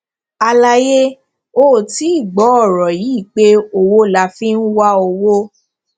àlàyé ó ti gbọ ọrọ yìí pé owó la fi ń wá owó